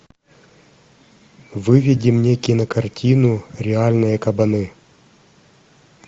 выведи мне кинокартину реальные кабаны